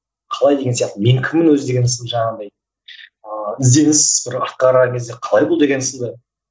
қалай деген сияқты мен кіммін өзі деген сынды жаңағындай ыыы ізденіс бір артқа қараған кезде қалай бұл деген сынды